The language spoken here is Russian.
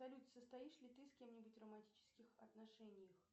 салют состоишь ли ты с кем нибудь в романтических отношениях